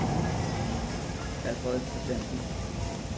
Alfred Kristiansen